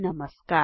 नमस्कार